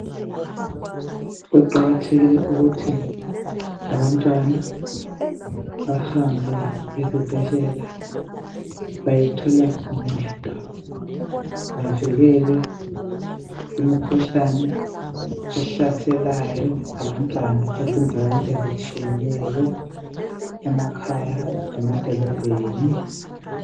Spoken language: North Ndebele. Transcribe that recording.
Kuqakathekile ukuthi abantwana bahambe ezibhedlela bayethola uncedo bavikelwe kumikhuhlane ehlaselaya abantwana ezindaweni ezitshiyeneyo emakhaya lemadolobheni.